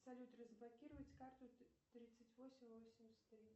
салют разблокировать карту тридцать восемь восемьдесят три